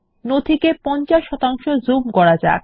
নথিকে 50 zoom করা যাক